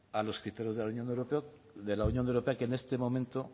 a los criterios de la unión europea que en este momento